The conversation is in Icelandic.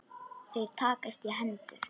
Þeir takast í hendur.